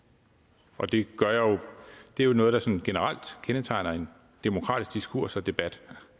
og det er jo noget der sådan generelt kendetegner en demokratisk diskurs og debat